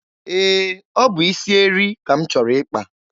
Ee, ọ bụ isi eri ka m chọrọ ịkpa.